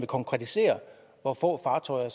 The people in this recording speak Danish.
konkretisere hvor få fartøjer